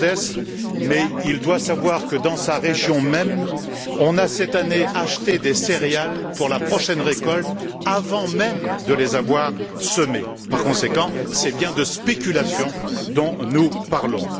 Gauzès, mais il doit savoir que dans sa région même, on a, cette année, acheté des céréales pour la prochaine récolte avant même de les avoir semées. Par conséquent, c'est bien de spéculation dont nous parlons.